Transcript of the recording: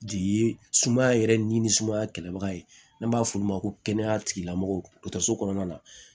Jigi ye sumaya yɛrɛ ni sumaya kɛlɛbaga ye n'an b'a f'olu ma ko kɛnɛya tigilamɔgɔw kɔnɔna na